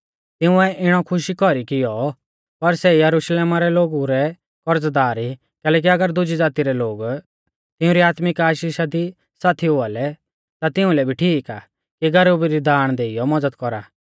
तिंउऐ इणौ खुशी कौरी कियौ पर सै यरुशलेमा रै लोगु रै करज़दार ई कैलैकि अगर दुज़ी ज़ाती रै लोग तिऊं री आत्मिक आशीषा दी साथी हुआ लै ता तिउंलै भी ठीक आ कि गरीबु री दाण देइयौ मज़द कौरा